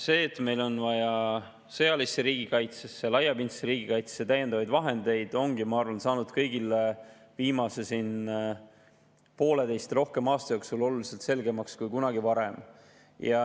See, et meil on vaja sõjalisse ja laiapindsesse riigikaitsesse täiendavaid vahendeid, ongi, ma arvan, saanud kõigile viimase pooleteise ja rohkema aasta jooksul oluliselt selgemaks kui kunagi varem.